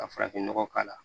Ka farafinnɔgɔ k'a la